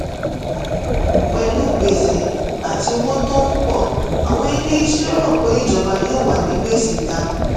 pẹ̀lú gbèsè àti owó tó ń pọ̀ àwọn ilé iṣẹ́ rò pé ìjọba yóò wà ní gbèsè ga.